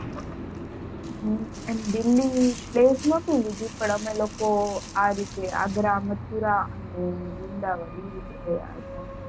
હમ એમ building નોતી લીધી પણ અમે લોકો આ રીતે આગ્રા મથુરા અને વૃંદાવન દિલ્લી building ગયા હતા